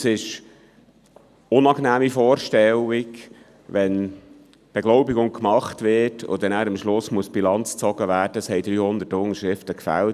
Es ist eine unangenehme Vorstellung, wenn die Beglaubigung gemacht wird und man am Schluss Bilanz zieht und sieht, dass 300 Unterschriften gefehlt haben.